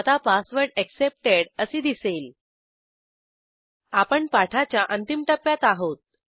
आता password accepted असे दिसेल आपण पाठाच्या अंतिम टप्प्यात आहोत